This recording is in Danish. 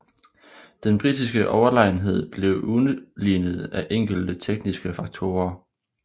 Den britiske overlegenhed blev udlignet af enkelte tekniske faktorer